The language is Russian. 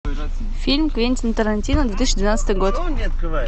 фильм квентин тарантино две тысячи двенадцатый год